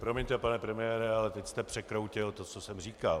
Promiňte pane premiére, ale teď jste překroutil to, co jsem říkal.